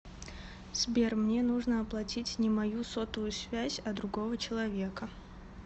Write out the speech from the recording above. сбер мне нужно оплатить не мою сотовую связь а другого человека